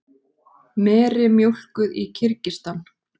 Meri mjólkuð í Kirgistan.